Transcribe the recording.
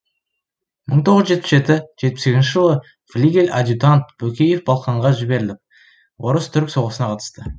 мың тоғыз жүз жетпіс жеті жетпіс сегізінші жылы флигель адъютант бөкеев балқанға жіберіліп орыс түрік соғысына қатысты